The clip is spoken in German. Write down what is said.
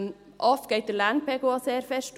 Oft geht der Lärmpegel auch stark hoch.